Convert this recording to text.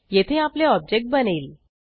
येथे आपले ऑब्जेक्ट बनेल